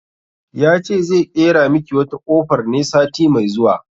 Ya ce zai ƙera miki wata kofar ne sati mai zuwa